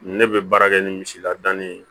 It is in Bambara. Ne bɛ baara kɛ ni misi lade ye